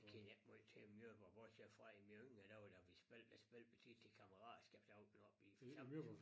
Kender ikke måj til Møborg bortset fra i mine yngre dage da vi spillede der spil tit til kammeratskab der var vi oppe i forsamlings